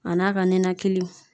A n'a ka ninakili